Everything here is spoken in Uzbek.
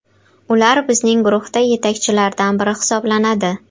Ular bizning guruhda yetakchilardan biri hisoblanadi.